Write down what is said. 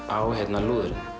á lúðurinn